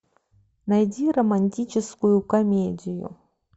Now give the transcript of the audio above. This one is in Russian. найди романтическую комедию